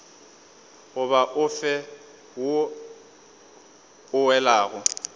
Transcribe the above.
goba ofe wo o welago